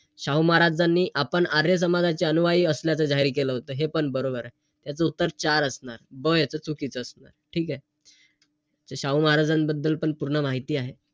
शाहू महाराजांनी आपण आर्य समाजाचे अनुयायी असल्याचं जाहीर केलं होतं. हे पण बरोबरे. याच उत्तर चार असणार. ब याच चुकीचं असणार. ठीकेय? शाहू महाराजांबद्दल पण पूर्ण माहिती आहे.